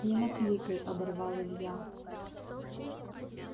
не накликай оборвал илья